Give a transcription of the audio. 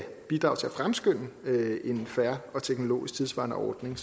bidrage til at fremskynde en fair og teknologisk tidssvarende ordning